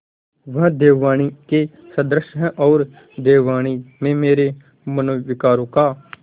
वह देववाणी के सदृश हैऔर देववाणी में मेरे मनोविकारों का